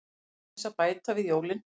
Aðeins að bæta við jólin.